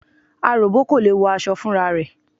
Aròbó kò lè wọ aṣọ fúnra rẹ̀.